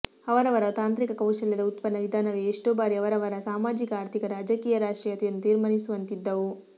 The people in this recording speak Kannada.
ಅವರವರ ತಾಂತ್ರಿಕ ಕೌಶಲ್ಯದ ಉತ್ಪನ್ನ ವಿಧಾನವೇ ಎಷ್ಟೋ ಬಾರಿ ಅವರವರ ಸಾಮಾಜಿಕ ಆರ್ಥಿಕ ರಾಜಕೀಯ ರಾಷ್ಟ್ರೀಯತೆಯನ್ನು ತೀರ್ಮಾನಿಸುವಂತಿದ್ದವು